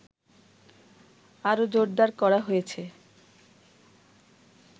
আরো জোরদার করা হয়েছে